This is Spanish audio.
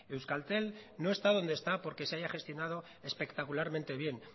euskaltel no está donde está porque se haya gestionado espectacularmente bien